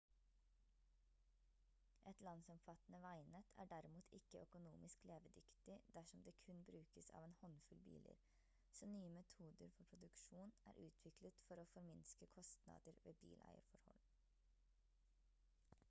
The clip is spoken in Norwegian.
et landsomfattende veinettverk er derimot ikke økonomisk levedyktig dersom det kun brukes av en håndfull biler så nye metoder for produksjon er utviklet for å forminske kostnader ved bileierforhold